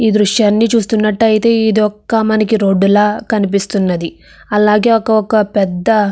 ఈ దృశ్యాన్ని చూస్తున్నట్లయితే ఇది ఒక మనకు రోడ్డు లా కనిపిస్తున్నది. అలాగే ఒక్కొక్క పెద్ద --